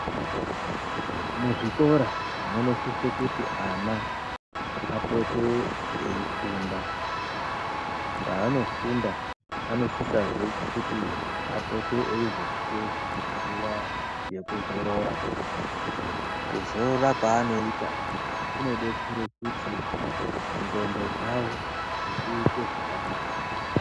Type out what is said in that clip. Muzvikora munosise kuti ana apote eifunda paanofunda anosisazve kuti apote eizopuwa nguva yekuzorora kuzorora kwaanoita kunodetsera kuti nxondo dzavo dziite zvakanaka.